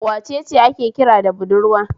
Wace ce ake kira da budurwa?